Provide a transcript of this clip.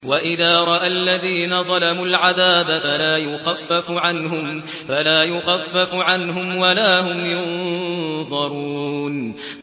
وَإِذَا رَأَى الَّذِينَ ظَلَمُوا الْعَذَابَ فَلَا يُخَفَّفُ عَنْهُمْ وَلَا هُمْ يُنظَرُونَ